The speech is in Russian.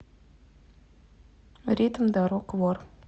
ритм дорог вор